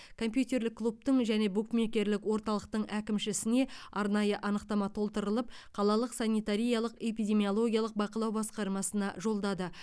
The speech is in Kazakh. компьютерлік клубтың және букмекерлік орталықтың әкімшісіне арнайы анықтама толтырылып қалалық санитариялық эпидемиологиялық бақылау баскармасына жолдады